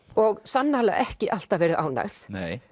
og sannarlega ekki alltaf verið ánægð